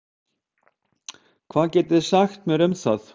Hvað getið þið sagt mér um það?